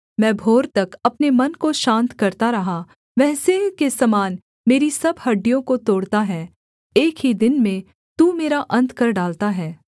मैं भोर तक अपने मन को शान्त करता रहा वह सिंह के समान मेरी सब हड्डियों को तोड़ता है एक ही दिन में तू मेरा अन्त कर डालता है